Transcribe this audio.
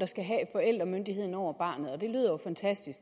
der skal have forældremyndigheden over barnet og det lyder jo fantastisk